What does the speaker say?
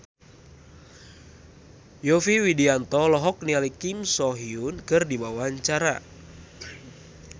Yovie Widianto olohok ningali Kim So Hyun keur diwawancara